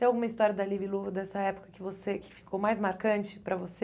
Tem alguma história da Libilu dessa época que você que ficou mais marcante para você?